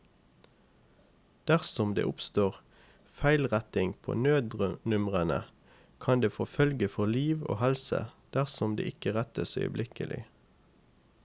Dersom det oppstår feilretting på nødnumrene, kan det få følge for liv og helse dersom det ikke rettes øyeblikkelig.